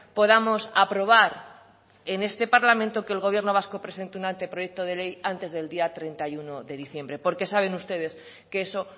podamos aprobar en este parlamento que el gobierno vasco presente un anteproyecto de ley antes del día treinta y uno de diciembre porque saben ustedes que eso